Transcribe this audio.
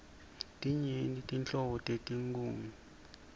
tinyenti nhlobo tetinkhunga